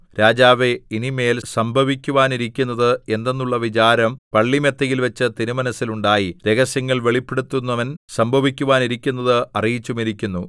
രാജാവേ ഇനി മേൽ സംഭവിക്കുവാനിരിക്കുന്നത് എന്തെന്നുള്ള വിചാരം പള്ളിമെത്തയിൽവച്ച് തിരുമനസ്സിൽ ഉണ്ടായി രഹസ്യങ്ങൾ വെളിപ്പെടുത്തുന്നവൻ സംഭവിക്കുവാനിരിക്കുന്നത് അറിയിച്ചുമിരിക്കുന്നു